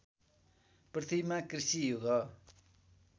पृथ्वीमा कृषि युग